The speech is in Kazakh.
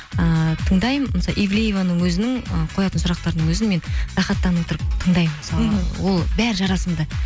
ыыы тыңдаймын мысалы ивлееваның өзінің і қоятын сұрақтарының өзін мен рахаттанып отырып тыңдаймын мысалға ол бәрі жарасымды